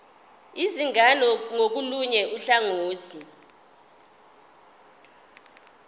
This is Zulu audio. izingane ngakolunye uhlangothi